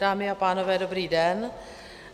Dámy a pánové, dobrý den.